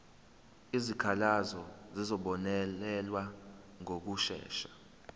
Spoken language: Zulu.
izikhalazo zizobonelelwa ngokushesha